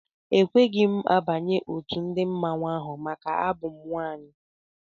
Ekweghị m banye otu ndị mmanwụ ahụ maka abụ m nwaanyị.